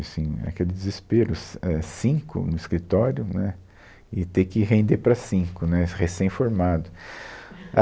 Aí assim, aquele desespero, cin, é, cinco no escritório, né, e ter que render para cinco, né, recém-formado.